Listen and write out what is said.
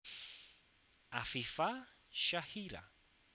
Afifa Syahira